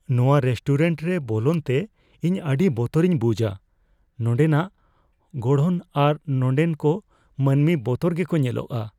ᱱᱚᱣᱟ ᱨᱮᱥᱴᱩᱨᱮᱱᱴ ᱨᱮ ᱵᱚᱞᱚᱱᱛᱮ ᱤᱧ ᱟᱹᱰᱤ ᱵᱚᱛᱚᱨᱤᱧ ᱵᱩᱡᱷᱼᱟ ᱾ ᱱᱚᱸᱰᱮᱱᱟᱜ ᱜᱚᱲᱦᱚᱱ ᱟᱨ ᱱᱚᱸᱰᱮᱱ ᱠᱚ ᱢᱟᱹᱱᱢᱤ ᱵᱚᱛᱚᱨ ᱜᱮᱠᱚ ᱧᱮᱞᱚᱜᱚᱜᱼᱟ ᱾